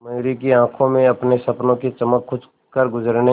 मयूरी की आंखों में अपने सपनों की चमक कुछ करगुजरने